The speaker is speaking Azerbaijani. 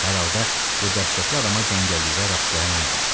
Hər halda bu dəhşətli adama cəngəllikdə rast gələn olmamışdı.